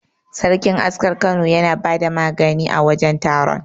Sarkin askar Kano yana bada magani a wajen taron.